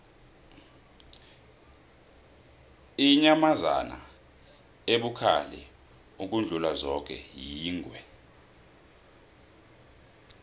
inyamazana ebukhali ukudlula zoke yingwe